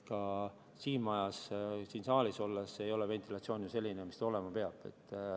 Ka siin majas, siin saalis ei ole ventilatsioon ju selline, mis ta olema peab.